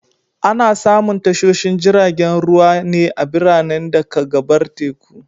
Ana samun tashoshin jiragen ruwa ne a biranen da ka gabar teku.